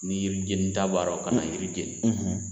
Ni yiri jenita b'a la ka n'a yiri jeni